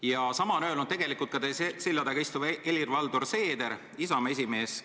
Ja sama on öelnud ka teie selja taga istuv Helir-Valdor Seeder, Isamaa esimees.